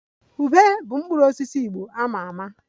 Ube bụ mkpụrụ osisi Igbo a ma ama